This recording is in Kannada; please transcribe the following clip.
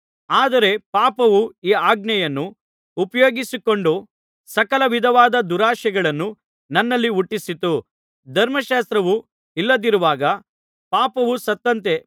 ಆದರೆ ಪಾಪವು ಈ ಆಜ್ಞೆಯನ್ನು ಉಪಯೋಗಿಸಿಕೊಂಡು ಸಕಲ ವಿಧವಾದ ದುರಾಶೆಗಳನ್ನು ನನ್ನಲ್ಲಿ ಹುಟ್ಟಿಸಿತು ಧರ್ಮಶಾಸ್ತ್ರವು ಇಲ್ಲದಿರುವಾಗ ಪಾಪವು ಸತ್ತಂತೆ